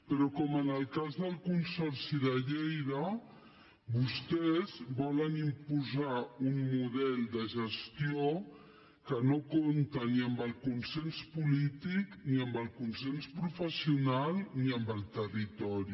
però com en el cas del consorci de lleida vostès volen imposar un model de gestió que no compta ni amb el consens polític ni amb el consens professional ni amb el territori